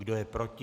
Kdo je proti?